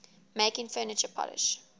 making furniture polish